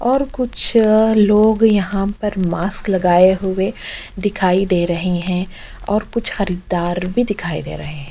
और कुछ लोग यहाँ पर मास्क लगाए हुए दिखाई दे रहै हैं और कुछ खरीरदार भी दिखाई दे रहै हैं।